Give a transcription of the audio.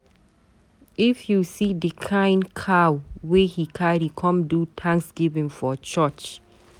If you see the kin cow wey he carry come do Thanksgiving for church.